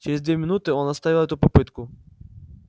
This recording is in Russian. через две минуты он оставил эту попытку